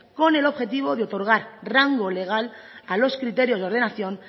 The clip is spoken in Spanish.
con el objetivo de otorgar rango legal a los criterios de ordenación